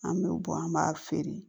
An bɛ bɔn an b'a feere